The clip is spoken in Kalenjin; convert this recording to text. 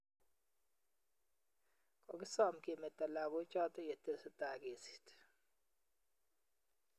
Kogisom kemeto lagoochoto yetesetai kesiit